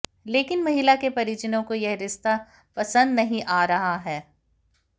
लेकिन महिला के परिजनों को यह रिस्ता पसंद नहीं आ रहा है